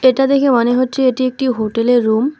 এটা দেখে মনে হচ্ছে এটি একটি হোটেলের রুম ।